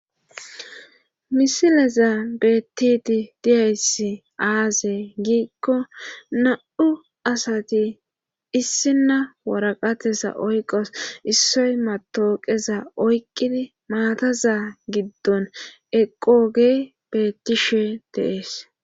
Misilezan beettidi diyayssi aaze giikko na77u asati issinna waraqateza oyqqasu issoy mattooqeza oyqqidi maataza giddon eqqoogey beettishe de7ees.